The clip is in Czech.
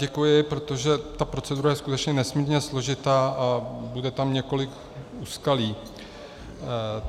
Děkuji, protože ta procedura je skutečně nesmírně složitá a bude tam několik úskalí.